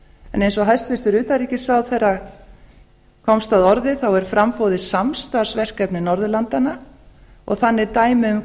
en eins og hæstvirtur utanríkisráðherra komst að orði er framboðið samstarfsverkefni norðurlandanna og þannig dæmi um